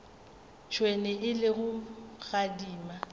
tšhwene e le go gadima